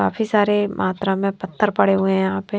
काफी सारे मात्रा में पत्थर पड़े हुए हैं यहां पर --